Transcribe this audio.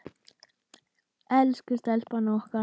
Elsku stelpan okkar.